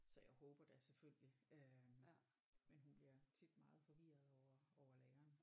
Så jeg håber da selvfølgelig øh men hun bliver tit meget forvirret over over læreren